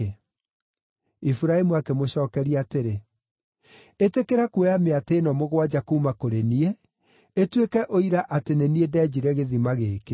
Iburahĩmu akĩmũcookeria atĩrĩ, “Ĩtĩkĩra kuoya mĩatĩ ĩno mũgwanja kuuma kũrĩ niĩ, ĩtuĩke ũira atĩ nĩ niĩ ndenjire gĩthima gĩkĩ.”